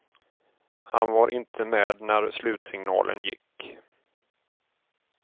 Han var inte med när slutsignalen gick.